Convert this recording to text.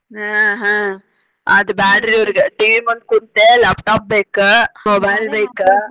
ಹಾ ಹಾ ಆದ ಬ್ಯಾಡ್ರಿ ಇವ್ರಿಗೆ TV ಮುಂದ್ ಕೂತೆ laptop ಬೇಕ್ mobile ಬೇಕ್.